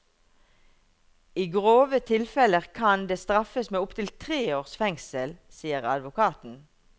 I grove tilfeller kan det straffes med opptil tre års fengsel, sier advokaten.